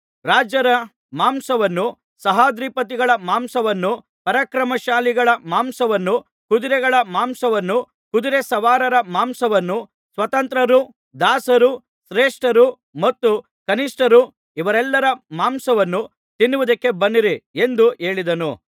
ರಾಜರ ಮಾಂಸವನ್ನೂ ಸಹಸ್ರಾಧಿಪತಿಗಳ ಮಾಂಸವನ್ನೂ ಪರಾಕ್ರಮಶಾಲಿಗಳ ಮಾಂಸವನ್ನೂ ಕುದುರೆಗಳ ಮಾಂಸವನ್ನೂ ಕುದುರೆ ಸವಾರರ ಮಾಂಸವನ್ನೂ ಸ್ವತಂತ್ರರೂ ದಾಸರೂ ಶ್ರೇಷ್ಠರು ಮತ್ತು ಕನಿಷ್ಠರು ಇವರೆಲ್ಲರ ಮಾಂಸವನ್ನೂ ತಿನ್ನುವುದಕ್ಕೆ ಬನ್ನಿರಿ ಎಂದು ಹೇಳಿದನು